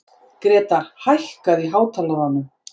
Grétar, hækkaðu í hátalaranum.